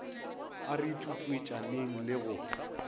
a re tutuetšaneng le go